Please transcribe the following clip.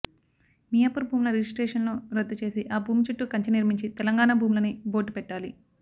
మియాపూర్ భూముల రిజిస్ట్రేషన్ లు రద్దు చేసి ఆ భూమి చుట్టూ కంచె నిర్మించి తెలంగాణా భూములని బోర్డ్ పెట్టాలి